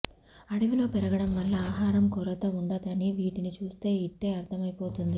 అడవిలో పెరగడం వల్ల ఆహారం కొరత ఉండదని వీటిని చూస్తే ఇట్టే అర్థమైపోతుంది